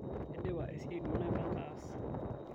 aidipa esiai duo naipanga aas